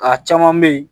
A caman bɛ yen